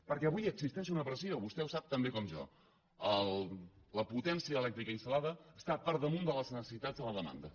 perquè avui existeix una pressió vostè ho sap tan bé com jo la potència elèctrica instal·lada està per damunt de les necessitats de la demanda